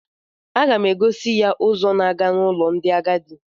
A ga m egosi ya ụzọ na-aga n'ụlọ ndị agadi